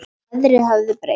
Veðrið hafði breyst.